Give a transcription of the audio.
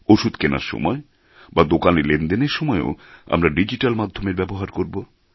ওষুধ কেনার সময় বা দোকানে লেনদেনের সময়েও আমরা ডিজিট্যাল মাধ্যমের ব্যবহার করবো